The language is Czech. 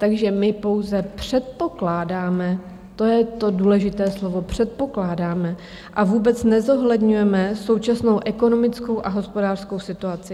Takže my pouze předpokládáme, to je to důležité slovo - předpokládáme -, a vůbec nezohledňujeme současnou ekonomickou a hospodářskou situaci.